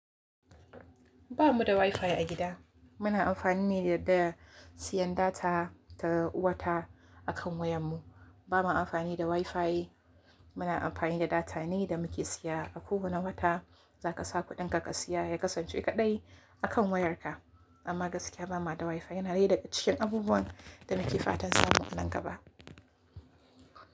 Ba mu da WiFi a gida. Muna amfani ne da siyan data ta wata akan wayar mu. Ba mu amfani da WiFi, muna amfani da data ne da muke siya. A kowane wata za ka sa kuɗinka ka siya, ya kasance kaɗai akan wayarka. Amma gaskiya ba ma da WiFi yana dai daga cikin abubuwan da nake fatan samu nan gaba.